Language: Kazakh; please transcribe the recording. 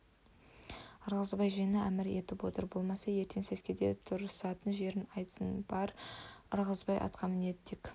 ырғызбай жиыны әмір етіп отыр болмаса ертең сәскеде тұрысатын жерін айтсын бар ырғызбай атқа мінеді тек